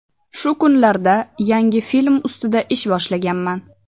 Shu kunlarda yangi film ustida ish boshlaganman.